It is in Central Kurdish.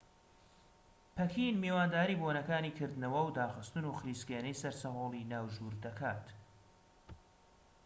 پەکین میوانداری بۆنەکانی کردنەوە و داخستن و خلیسکێنەی سەرسەهۆڵی ناوژوور دەکات